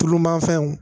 Tulu ma fɛnw